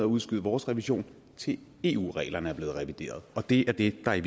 udskyder vores revision til eu reglerne er blevet revideret og det er det der i